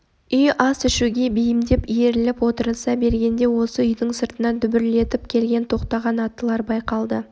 үй ас ішуге бейімдеп иіріліп отырыса бергенде осы үйдің сыртына дүбірлетіп келіп тоқтаған аттылар байқалды